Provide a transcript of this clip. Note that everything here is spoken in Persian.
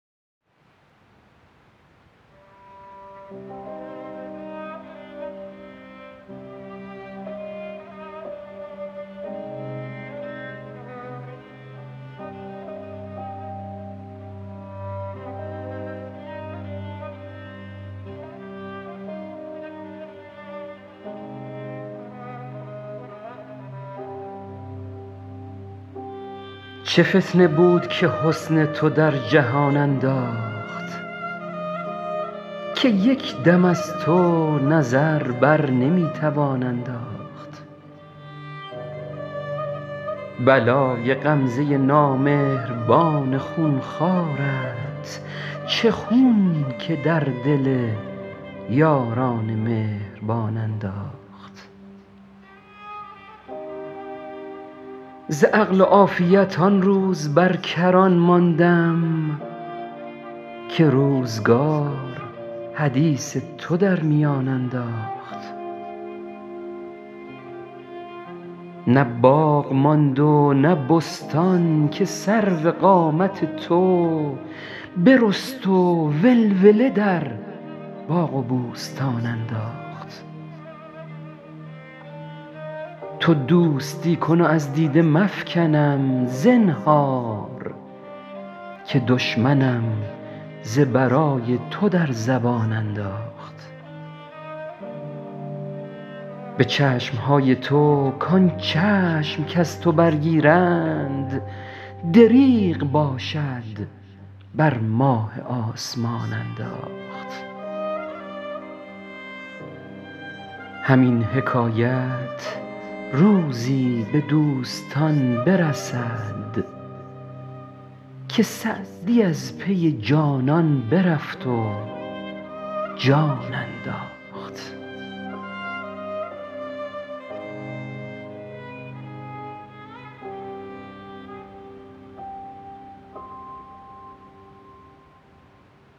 چه فتنه بود که حسن تو در جهان انداخت که یک دم از تو نظر بر نمی توان انداخت بلای غمزه نامهربان خون خوارت چه خون که در دل یاران مهربان انداخت ز عقل و عافیت آن روز بر کران ماندم که روزگار حدیث تو در میان انداخت نه باغ ماند و نه بستان که سرو قامت تو برست و ولوله در باغ و بوستان انداخت تو دوستی کن و از دیده مفکنم زنهار که دشمنم ز برای تو در زبان انداخت به چشم های تو کان چشم کز تو برگیرند دریغ باشد بر ماه آسمان انداخت همین حکایت روزی به دوستان برسد که سعدی از پی جانان برفت و جان انداخت